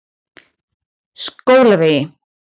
Skólavegi